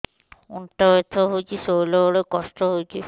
ଅଣ୍ଟା ବଥା ହଉଛି ଶୋଇଲା ବେଳେ କଷ୍ଟ ହଉଛି